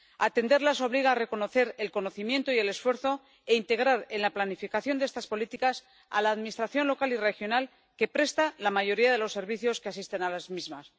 Atenderlas obliga a reconocer el conocimiento y el esfuerzo e integrar en la planificación de estas políticas a la Administración local y regional que presta la mayoría de los servicios que asisten a las víctimas.